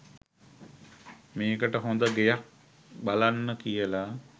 මේකට හොද ගෙයක් බලන්න කියලා